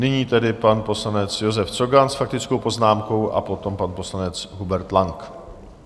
Nyní tedy pan poslanec Josef Cogan s faktickou poznámkou a potom pan poslanec Hubert Lang.